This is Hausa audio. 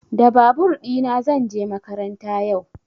Da babur ɗina zan je makaranta yau.